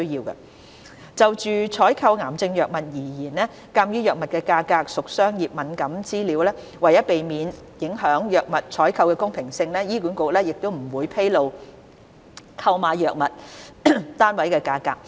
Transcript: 一就採購癌症藥物而言，鑒於藥物價格屬商業敏感資料，為避免影響藥物採購的公平性，醫管局不會披露購買藥物的單位價格。